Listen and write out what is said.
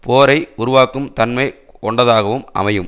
போரை உருவாக்கும் தன்மை கொண்டதாகவும் அமையும்